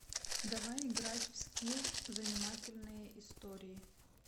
давай играть в скилл занимательные истории